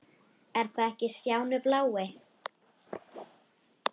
Er þetta ekki Stjáni blái?!